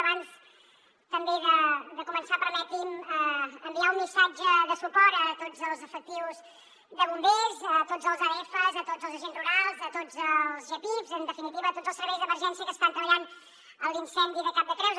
abans també de començar permeti’m enviar un missatge de suport a tots els efectius de bombers a tots els adfs a tots els agents rurals a tots els gepifs en definitiva a tots els serveis d’emergència que estan treballant en l’incendi de cap de creus